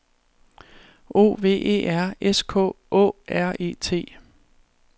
O V E R S K Å R E T